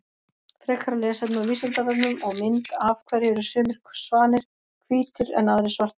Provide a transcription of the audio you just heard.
Frekara lesefni á Vísindavefnum og mynd Af hverju eru sumir svanir hvítir en aðrir svartir?